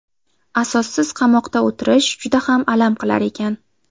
Asossiz qamoqda o‘tirish juda ham alam qilar ekan.